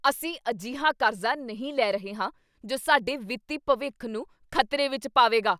ਅਸੀਂ ਅਜਿਹਾ ਕਰਜ਼ਾ ਨਹੀਂ ਲੈ ਰਹੇ ਹਾਂ ਜੋ ਸਾਡੇ ਵਿੱਤੀ ਭਵਿੱਖ ਨੂੰ ਖ਼ਤਰੇ ਵਿੱਚ ਪਾਵੇਗਾ!